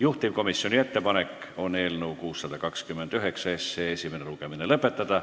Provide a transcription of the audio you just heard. Juhtivkomisjoni ettepanek on eelnõu 629 esimene lugemine lõpetada.